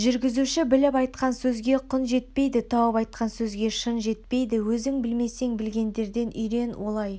жүргізуші біліп айтқан сөзге құн жетпейді тауып айтқан сөзге шын жетпейді өзің білмесең білгендерден үйрен олай